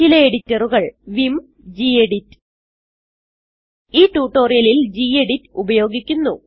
ചില എഡിറ്ററുകൾ vim gedit ഈ ട്യൂട്ടോറിയലിൽ ഗെഡിറ്റ് ഉപയോഗിക്കുന്നു